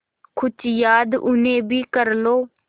कुछ याद उन्हें भी कर लो